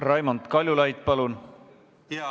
Raimond Kaljulaid, palun!